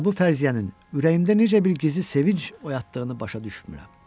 Və bu fərziyyənin ürəyimdə necə bir gizli sevinc oyatdığını başa düşmürəm.